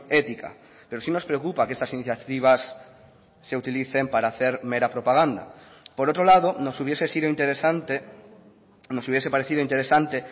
ética pero sí nos preocupa que estas iniciativas se utilicen para hacer mera propaganda por otro lado nos hubiese sido interesante nos hubiese parecido interesante